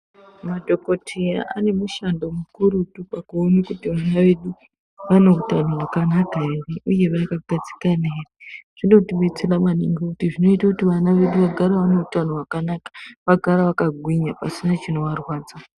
Madhokoteya nemushando mukurutu pakuona kuti vana vedu vaneutano here uye vakagadzikana here zvinotidetsera maningi kuti ana edu agare aneutano hwakanaka agare akagwinya pasina chinova rwadza.